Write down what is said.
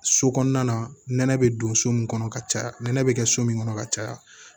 So kɔnɔna nɛnɛ be don so min kɔnɔ ka caya nɛnɛ bi kɛ so min kɔnɔ ka caya